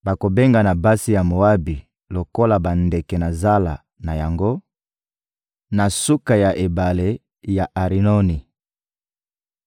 Bakobengana basi ya Moabi lokola bandeke na zala na yango, na suka ya ebale ya Arinoni.